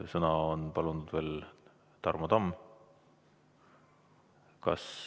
Sõna on palunud veel Tarmo Tamm.